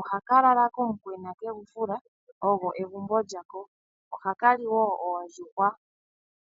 Ohaka lala komukwena kegu fula, olyo egumbo lyako. Ohaka li wo oondjuhwa.